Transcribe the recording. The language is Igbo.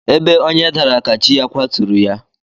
Ebe onye dara ka chi ya kwaturu ya.